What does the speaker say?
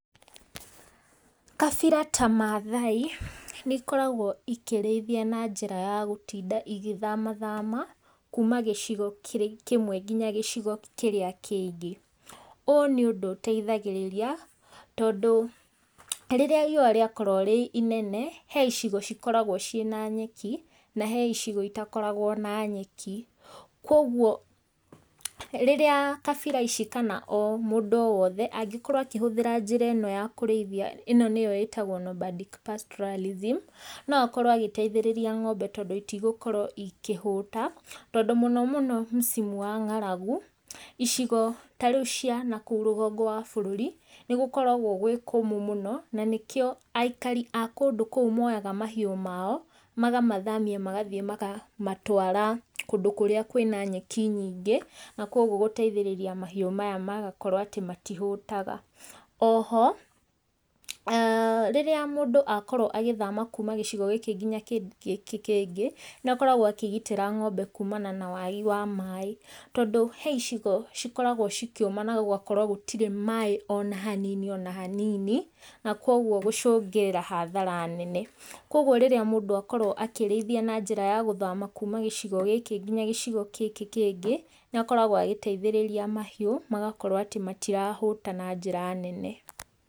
Kabira ta Maathai, nĩ ĩkoragwo ikĩrĩithia na njĩra ya gũtinda ĩgĩthamathama kuuma gĩcigo kĩmwe nginya kĩrĩa kĩngĩ. Ũũ nĩ ũndũ ũteithagĩrĩria, tondũ rĩrĩa riũwa rĩakorwo rĩinene, heicigo ikoragwo ciĩna nyeki, na he icigo citakoragwo na nyeki. Koguo, rĩrĩa kabira ici kana o mũndũ wothe angĩkorwo akĩhũthĩra njĩra ĩno ya kũrĩithia nĩyo ĩtagwo Nomadic Pastoralism, no akorwo agĩteithĩrĩrĩa ng'ombe tondũ itigũkorwo ikihũta, tondũ mũno mũno msimu wa ng'aragu, icigo tarĩu cia kũu rũgongo wa bũrũri, nĩ gũkoragwo gwĩ kũmũ mũno, na nĩkĩo aikari a kũndũ kũu moyaga mahiũ mao, magamathamia makamatwara kũndũ kũrĩa kwĩna nyeki nyingĩ, nakoguo gũteithĩrĩria mahiũ maya gũkorwo matihũtaga. Oho, rĩrĩa mũndũ akorwo agĩthama kuuma gĩcigo gĩkĩ nginya gĩkĩ kĩngĩ, nĩakoragwo akĩgitĩra ng'ombe kuumana na wagi wa maaĩ, tondũ heicigo cĩkoragwo cikiũma na gũgakorwo gũtirĩ maaĩ ona hanini, ona hanini, nakoguo gũcũngĩrĩra hathara nene. Koguo hĩndĩ ĩrĩa mũndũ akorwo akĩrĩithia na njĩra ya gũthama kuuma gĩcigo gĩkĩ nginya gĩcigo gĩkĩ kĩngĩ, nĩakoragwo agĩteithĩrĩria mahiũ magakorwo atĩ matirahũta na njĩra nene.